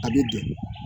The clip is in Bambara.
A bɛ don